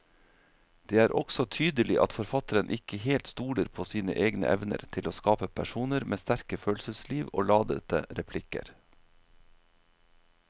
Det er også tydelig at forfatteren ikke helt stoler på sine egne evner til å skape personer med sterke følelsesliv og ladete replikker.